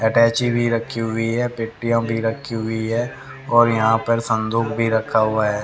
Attaché भी रखी हुई है पेटियां भी रखी हुई है और यहां पर संदूक भी रखा हुआ है।